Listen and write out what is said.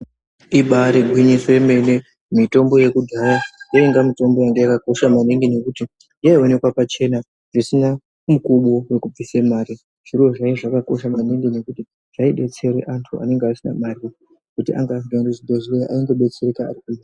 Ibari gwinyiso remene mitombo yekudhaya yainga mitombo yanga yakakosha maningi nekuti yaionekwa pachena zvisina mukubo wekubvisa mari zviro zvinenge zvakakosha maningi nekuti zvaidetsera vantu anenge asina mari anga asingaendi kuzvibhedhlera ayingo detsereka.